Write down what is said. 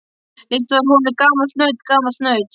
Líkt var honum gamalt naut, gamalt naut.